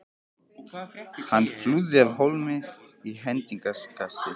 Hann flúði af hólmi í hendingskasti.